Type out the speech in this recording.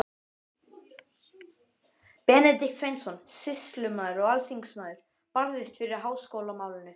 Benedikt Sveinsson, sýslumaður og alþingismaður, barðist fyrir háskólamálinu.